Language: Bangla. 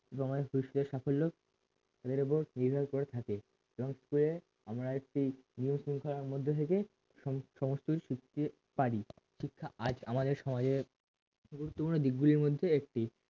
এবং অনেক পরিশ্রমের সাফল্য ওদের ওপর নির্ভর করে থাকে এবং আমরা একটি নিয়ম-শৃঙ্খলার মধ্যে থেকে সমস্তই শিখতে পারি শিক্ষা আজ আমাদের সমাজের গুরুত্বপূর্ণ দিকগুলোর মধ্যে একটি